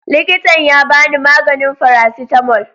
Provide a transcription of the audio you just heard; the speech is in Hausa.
Likitan ya ba ni maganin faracetamol.